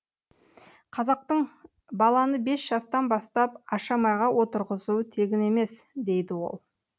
қазақтың баланы бес жастан бастап ашамайға отырғызуы тегін емес дейді ол